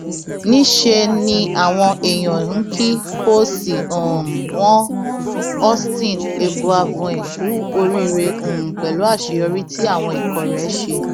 níṣẹ ni àwọn èèyàn ń kí kóòsì um wọn austin eguavoen kú oríire um pẹlú àṣeyọrí tí àwọn ikọ rẹ ṣe